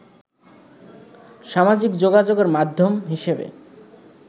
সামাজিক যোগাযোগের মাধ্যম হিসেবে